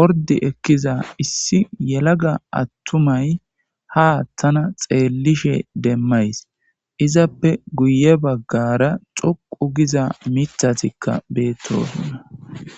ordi ekiza issi yelaga atumay ha tana xelishe demays . Izappe guye bagara xoqu giza mithatika betosona.